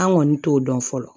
An kɔni t'o dɔn fɔlɔ